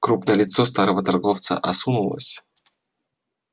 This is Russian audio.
крупное лицо старого торговца осунулось